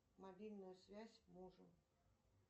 мобильную связь мужу